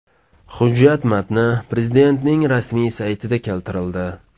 Hujjat matni Prezidentning rasmiy saytida keltirildi .